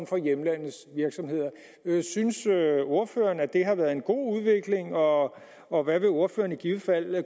for hjemlandets virksomheder synes ordføreren at det har været en god udvikling og og hvad vil ordføreren i givet fald